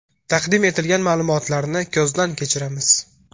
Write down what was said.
Taqdim etilgan ma’lumotlarni ko‘zdan kechiramiz.